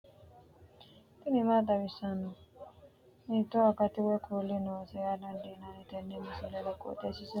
tini maa xawissanno ? hiitto akati woy kuuli noose yaa dandiinanni tenne misilera? qooxeessisera noori maati? kuni kowiicho mannu lekkate wodhannoti mayra mullawa no dana hiittoote